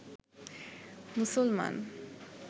মুসলমান